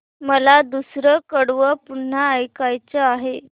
मला दुसरं कडवं पुन्हा ऐकायचं आहे